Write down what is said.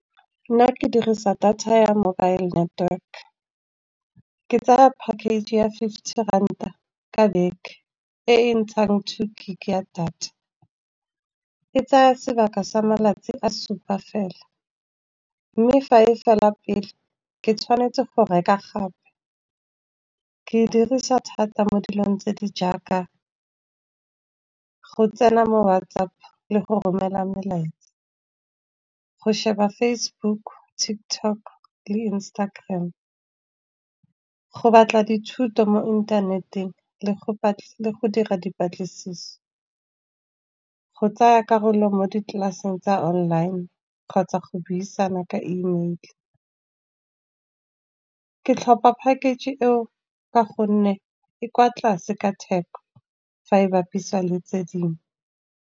Nna ke dirisa data ya mobile network ke tsaya package ya fifty ranta ka beke, e e ntshang two gig ya data. E tsaya sebaka sa malatsi a supa fela, mme fa e fela pele ke tshwanetse go reka gape. Ke e dirisa thata mo dilong tse di jaaka go tsena mo WhatsApp le go romela melaetsa. Go sheba Facebook, TikTok le Instagram, go batla dithuto mo inthaneteng le go dira dipatlisiso. Go tsaya karolo mo di tlelaseng tsa online kgotsa go buisana ka email. Ke tlhopha package e o ka gonne e kwa tlase ka theko, fa e bapisiwa le tse dingwe.